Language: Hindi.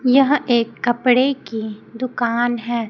यह एक कपड़े की दुकान है।